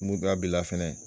Muru dɔ a b'i la fɛnɛ